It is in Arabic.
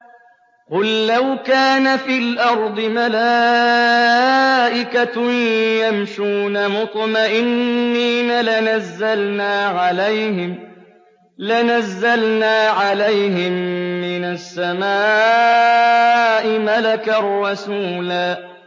قُل لَّوْ كَانَ فِي الْأَرْضِ مَلَائِكَةٌ يَمْشُونَ مُطْمَئِنِّينَ لَنَزَّلْنَا عَلَيْهِم مِّنَ السَّمَاءِ مَلَكًا رَّسُولًا